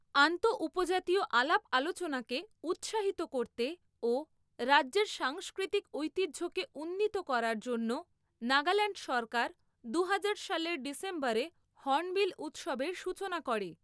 আন্তঃ উপজাতীয় আলাপ আলোচনাকে উৎসাহিত করতে ও রাজ্যের সাংস্কৃতিক ঐতিহ্যকে উন্নীত করার জন্য নাগাল্যাণ্ড সরকার দুহাজার সালের ডিসেম্বরে হর্নবিল উৎসবের সূচনা করে।